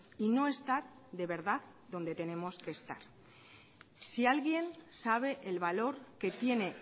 y no está de verdad donde tenemos que estar si alguien sabe el valor que tiene